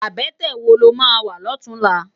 Abètè wó ló má wá lòtúnlá?